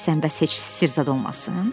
Deyirsən bəs heç sir zad olmasın?